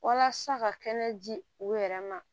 Walasa ka kɛnɛ ji u yɛrɛ ma